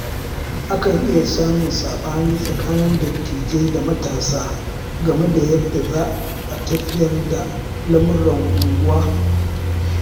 Akan iya samun saɓani tsakanin dattijai da matasa game da yadda za a tafiyar da lamuran unguwa.